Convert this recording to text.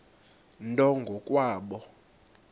nto ngo kwabo